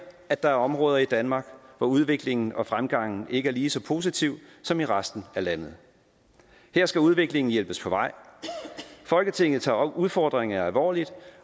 at der er områder i danmark hvor udviklingen og fremgangen ikke er lige så positiv som i resten af landet her skal udviklingen hjælpes på vej folketinget tager udfordringerne alvorligt